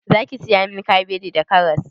Zaki saya min kabeji da karas?